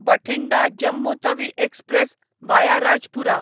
Bathinda Jammu Tawi express via Rajpura